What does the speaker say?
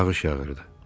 Yağış yağırdı.